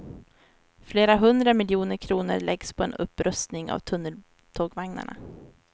Flera hundra miljoner kronor läggs på en upprustning av tunneltågvagnarna.